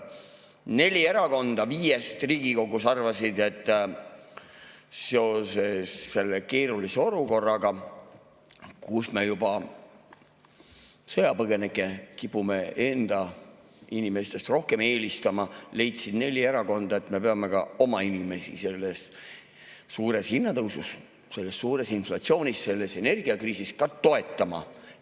Neli erakonda viiest arvasid Riigikogus, et seoses selle keerulise olukorraga, kus me juba sõjapõgenikke kipume enda inimestele eelistama, me peaksime ka oma inimesi selle suure hinnatõusu, selle suure inflatsiooni, selle energiakriisi ajal toetama.